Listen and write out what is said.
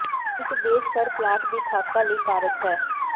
ਇੱਕ ਦੇਸ਼ ਘਰ ਪਲਾਟ ਦੀ ਖਾਕਾ ਲਈ ਕਾਰਜ ਹੈ